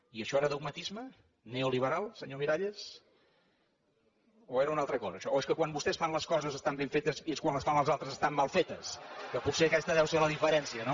i això era dogmatisme neoliberal senyor miralles o era una altra cosa això o és que quan vostès fan les coses estan ben fetes i quan les fan els altres estan mal fetes que potser aquesta deu ser la diferència no